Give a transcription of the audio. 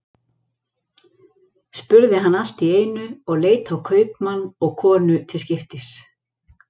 spurði hann allt í einu, og leit á kaupmann og konu til skiptis.